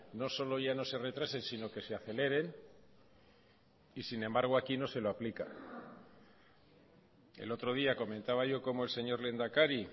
no solo ya no se retrasen sino que se aceleren y sin embargo aquí no se lo aplica el otro día comentaba yo cómo el señor lehendakari